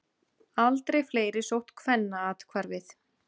Aldrei fleiri sótt Kvennaathvarfið